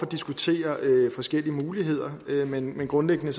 diskutere forskellige muligheder men grundlæggende